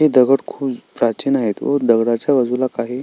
दगड खुप प्राचीन आहेत व दगडाच्या बाजूला काही--